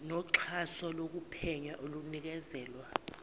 noxhaso lokuphenya olunikezelwa